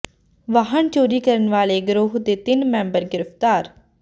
ਵਾਹਨ ਚੋਰੀ ਕਰਨ ਵਾਲੇ ਗਰੋਹ ਦੇ ਤਿੰਨ ਮੈਂਬਰ ਗ੍ਰਿਫ਼ਤਾਰ